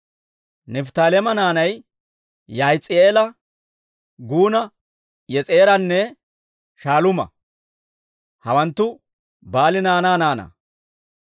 Nifttaaleema naanay Yaahis'i'eela, Guuna, Yes'eeranne Shaaluuma; hawanttu Baali naanaa naanaa.